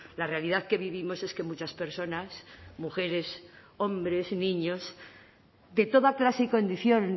la realidad que vivimos es que muchas personas mujeres hombres y niños de toda clase y condición